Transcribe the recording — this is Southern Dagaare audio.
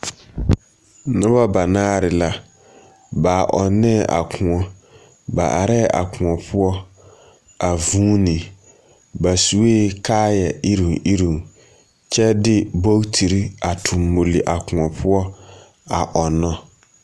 Noba ba naare la, ba ɔnnɛɛ a kõɔ. Ba arɛɛ a Kõɔ poɔ a vuune. Baa suee kaaya iruuŋ iruuŋ, kyɛ de bootiri a toŋ luri a kõɔ poɔ a ɔnnɔ.